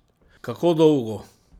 Kako dolgo?